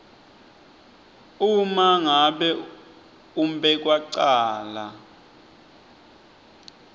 uma ngabe umbekwacala